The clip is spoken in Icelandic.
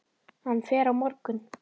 Hann fer á morgun.